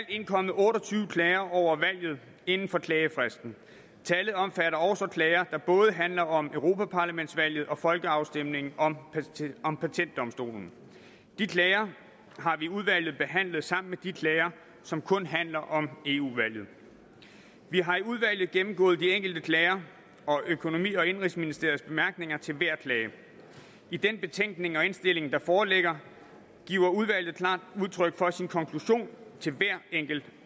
indkommet otte og tyve klager over valget inden for klagefristen tallet omfatter også klager der både handler om europaparlamentsvalget og folkeafstemningen om om patentdomstolen de klager har vi i udvalget behandlet sammen med de klager som kun handler om eu valget vi har i udvalget gennemgået de enkelte klager og økonomi og indenrigsministeriets bemærkninger til hver klage i den betænkning og indstilling der foreligger giver udvalget klart udtryk for sin konklusion til hver enkelt